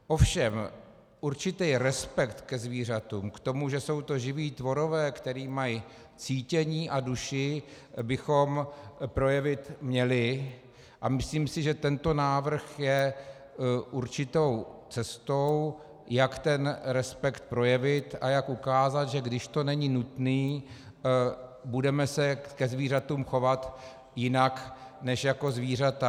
Ovšem určitý respekt ke zvířatům, k tomu, že jsou to živí tvorové, kteří mají cítění a duši, bychom projevit měli a myslím si, že tento návrh je určitou cestou, jak ten respekt projevit a jak ukázat, že když to není nutné, budeme se ke zvířatům chovat jinak než jako zvířata.